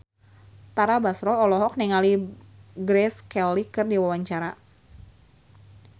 Tara Basro olohok ningali Grace Kelly keur diwawancara